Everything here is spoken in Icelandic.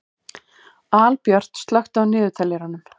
Albjört, slökktu á niðurteljaranum.